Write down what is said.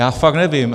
Já fakt nevím.